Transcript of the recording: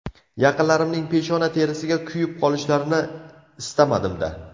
Yaqinlarimning peshona terisiga kuyib qolishlarini istamadim-da!